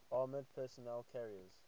armored personnel carriers